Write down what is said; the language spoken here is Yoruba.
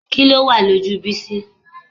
Kí ló wà lójú Bísí?